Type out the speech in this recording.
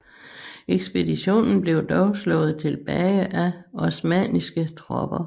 Ekspeditionen blev dog slået tilbage af osmanniske tropper